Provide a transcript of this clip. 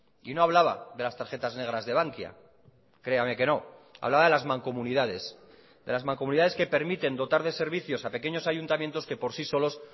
y no hablaba de las tarjetas negras de bankia créame que no hablaba de las mancomunidades de las mancomunidades que permiten dotar de servicios a pequeños ayuntamientos que por sí solos